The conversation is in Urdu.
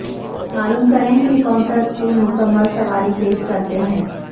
معلوم کریں کہ کونسا اسکول مکمل سواری پیش کرتے ہیں